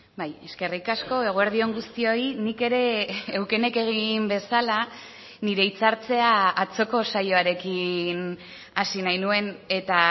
bai eskerrik asko eguerdi on guztioi nik ere eukenek egin bezala nire hitzartzea atzoko saioarekin hasi nahi nuen eta